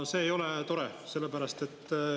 See ei ole tore.